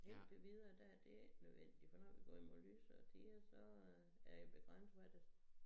Indtil videre der er det ikke nødvendigt for når vi går imod lysere tider så øh er det begrænset hvad det